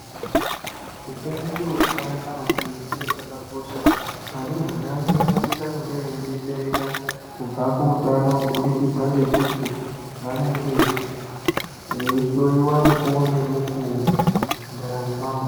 Utano chiro chakanaka maningi uye chakakosha. Arumbwana vedu vanosisa kunge veidetsereka kubva kuutano kubudikidza ngemuti vanenge veihloiwa mukuwo ngemukuwo mundaramo mavo.